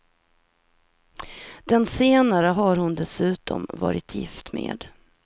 Den senare har hon dessutom varit gift med.